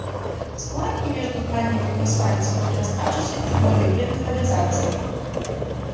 в складке между зданиями в асфальте был приотставшийся чугунный блин канализации